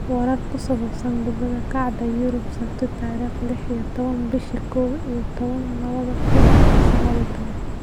Warar ku saabsan Kubada Cagta Yurub Sabti tarikh lix iyo tawan bishi kow iyo tawan lawadha kun iyosaqaliyotawan: Sane, Sancho, Ceballos, Haaland, Ferguson, Chilwell